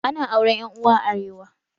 Ana auren Yan Uwa a arewa